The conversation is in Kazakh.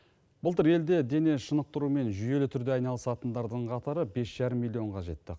былтыр елде дене шынықтырумен жүйелі түрде айналысатындардың қатары бес жарым миллионға жетті